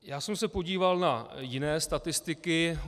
Já jsem se podíval na jiné statistiky.